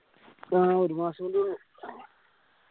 ആ ഒരു മാസം കൂടി ഉള്ളു